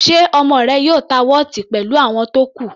Ṣe ọmọ rẹ yóò ta wọ́ọ̀tì pẹ̀lú àwọn tó kù?